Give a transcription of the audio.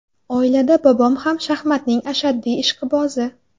Oilada bobom ham shaxmatning ashaddiy ishqibozi.